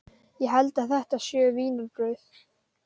Ég held að þetta séu vínarbrauð.